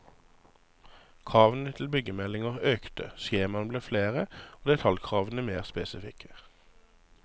Kravene til byggemeldinger økte, skjemaene ble flere og detaljkravene mer spesifikke.